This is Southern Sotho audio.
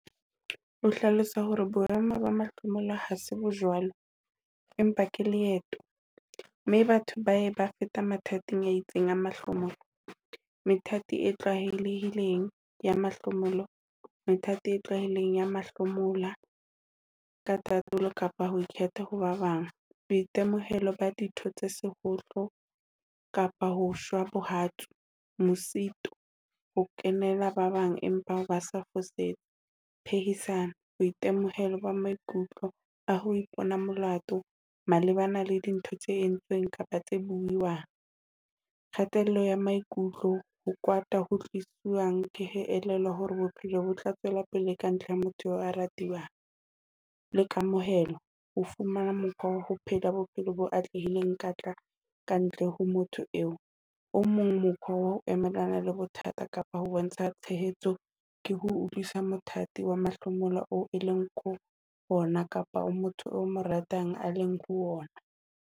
O hlalosa hore boemo ba mahlomola ha se bojwalo, empa ke leeto, mme batho ba ye ba fete methathing e itseng ya mahlomola. Methathi e tlwaelehileng ya mahlomola Methathi e tlwaelehileng ya mahlomola ke tatolo kapa ho ikgetha ho ba bang boitemohelo ba ditho tse shohlo kapa ho shwa bohatsu, mosito ho kgenela ba bang empa ba sa o fosetsa, phehisano boitemohelo ba maikutlo a ho ipona molato malebana le dintho tse entsweng kapa tse buuweng, kgatello ya maikutlo ho kwata ho tliswang ke ho elellwa hore bophelo bo tla tswela pele kantle ho motho eo ya ratwang, le kamohelo ho fumana mokgwa wa ho phela bophelo bo atlehileng kantle ho motho eo. O mong mokgwa wa ho emelana le bothata kapa ho bontsha tshehetso ke ho utlwisisa mothathi wa mahlomola oo o leng ho wona kapa oo motho eo o mo ratang a leng ho wona.